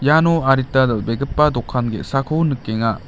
iano adita dal·begipa dokan ge·sako nikenga.